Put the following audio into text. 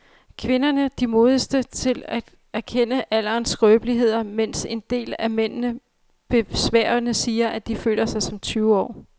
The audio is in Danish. Kvinderne de modigste til at erkende alderens skrøbeligheder, mens en del af mændene besværgende siger, at de føler sig som tyve år.